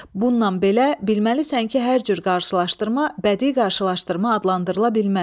Bundan belə bilməlisən ki, hər cür qarşılaşdırma bədii qarşılaşdırma adlandırıla bilməz.